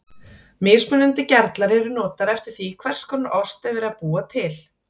Mismunandi gerlar eru notaðir eftir því hvers konar ost er verið að búa til.